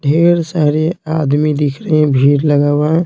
ढेर सारे आदमी दिख रहे भीड़ लगा हुआ।